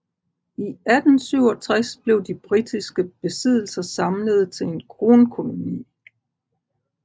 I 1867 blev de britiske besiddelser samlede til en kronkoloni